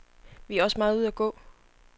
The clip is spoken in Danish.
Vi er også meget ude at gå.